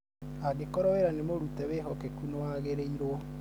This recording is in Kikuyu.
angĩkorwo wĩra nĩmũrute wĩhokeku nĩwagĩrĩirwo